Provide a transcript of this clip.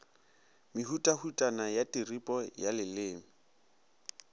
mehutahutana ya tiripo ya leleme